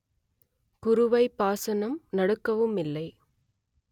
குறுவைப் பாசனம் நடக்கவும் இல்லை